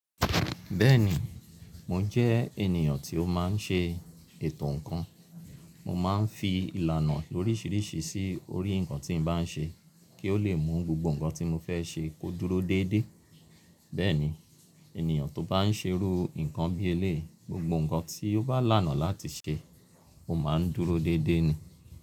Bẹ́ẹ̀ni, mò jẹ́ ènìyàn tí ó máa ń ṣe ètò ǹnkan. Mo máa ń fi ìlànà oríṣiiríṣii sí orí ǹnkan tí n bá n ṣe kí ó lè mú gbogbo ǹnkan tí mò fẹ́ ṣe kó dúró déédé. Bẹ́ẹ̀ni, ènìyàn tó bá ń ṣerú ǹnkan bí eléyi, gbogbo ǹnkan tí ó bá lànà láti ṣe, ó máa ń dúró déédé ni.